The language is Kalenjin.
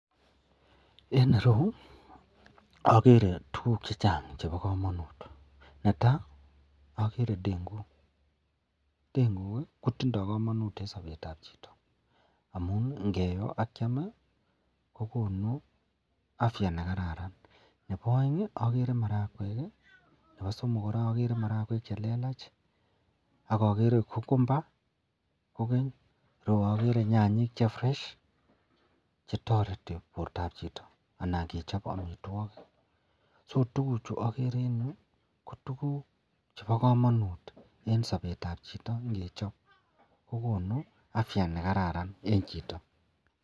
En ireyu okere tukuk chechang chebo komonut netaa okere ndeng'uk, ndeng'uk kotindo komonut en sobetab chito amun ngiyo ak Kiam kokonu afya nekararan, nebo oeng okere marakwek, nebo somok kora okere marakwek chelelach ak okere okumba kokeny ak okere nyanyik che fresh chetoreti bortab chito anan kechob amitwokik, so tukuchu okere en yuu ko tukuk chebo komonut en sobetab chito ngechob kokonu afya nekararan en chito.